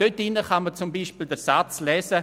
Darin kann man zum Beispiel den Satz lesen: